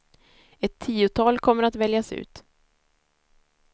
Ett tiotal kommer att väljas ut.